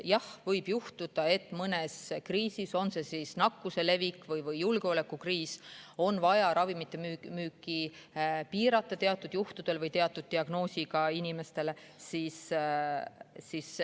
Jah, võib juhtuda, et mõne kriisi ajal, on see siis mõne nakkuse levik või julgeolekukriis, on vaja ravimite müüki piirata teatud juhtudel või teatud diagnoosiga inimestele.